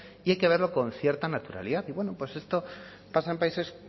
y hay que verlo con cierta naturalidad y bueno pues esto pasa en países